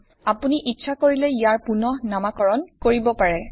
আপুনি ইচ্ছা কৰিলে ইয়াৰ পুনঃ নামাকৰণ কৰিব পাৰে